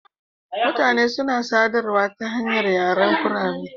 Mutane suna sadarwa ta hanyar yaren kurame.